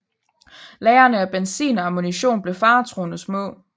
Lagrene af benzin og ammunition blev faretruende små